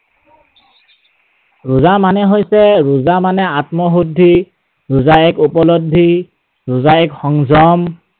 ৰোজা মানে হৈছে, ৰোজা মানে আত্মশুদ্ধি, ৰোজা এক উপলব্ধি, ৰোজা এক সংযম।